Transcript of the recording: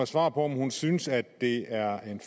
svar på om hun synes at det er en